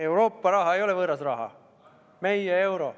Euroopa raha ei ole võõras raha, see on meie euro.